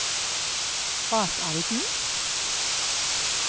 Batalden